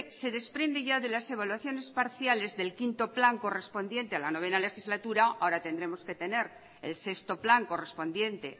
se desprende ya de las evaluaciones parciales del quinto plan correspondiente a la noveno legislatura ahora tendremos que tener el sexto plan correspondiente